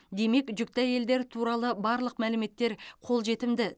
демек жүкті әйелдер туралы барлық мәліметтер қол жетімді